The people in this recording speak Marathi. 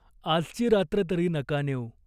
"आजची रात्र तरी नका नेऊ.